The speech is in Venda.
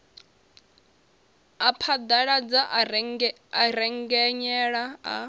a phaḓaladza a rengenyela a